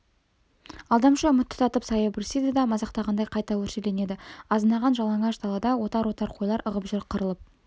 алдамшы үміт тұтатып саябырсиды да мазақтағандай қайта өршеленеді азынаған жалаңаш далада отар-отар қойлар ығып жүр қырылып